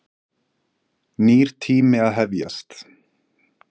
Nýr tími að hefjast.